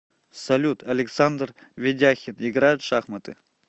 салют александр ведяхин играет в шахматы